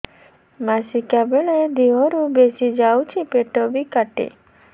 ମାସିକା ବେଳେ ଦିହରୁ ବେଶି ଯାଉଛି ପେଟ ବି କାଟେ